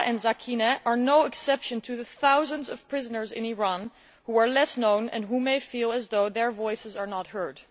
Zahra and Sakineh are no exception to the thousands of prisoners in Iran who are less known and who may feel as though their voices are not heard.